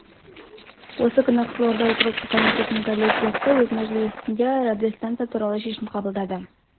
осы күні қызылорда округтік комитетінің коллегиясы өз мәжілісінде радиостанция туралы шешім қабылдады